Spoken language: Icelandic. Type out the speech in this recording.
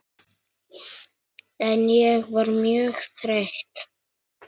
En ég var mjög þreytt.